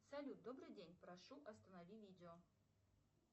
салют добрый день прошу останови видео